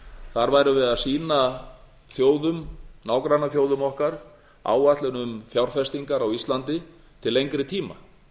þar værum við að sýna þjóðum nágrannaþjóðum okkar áætlun um fjárfestingar á íslandi til lengri tíma